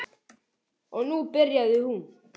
Og nú byrjaði hún.